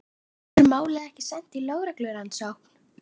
En verður málið ekki sent í lögreglurannsókn?